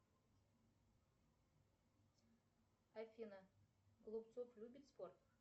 афина голубцов любит спорт